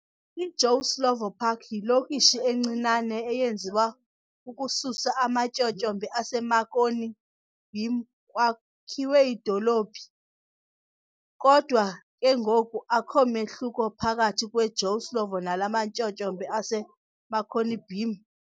I Joe Slovo Park yiLokishi encinane eyenziwa ukususa amaTyotyombe ase Marconi Beam kwakhiwe idolophu. Kodwa ke ngoku akho mehluko phakathi kwe Joe Slovo nalamatyotyombe ase Marconi Beam.